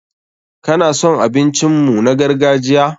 Ka na son abincin mu na gargajiya?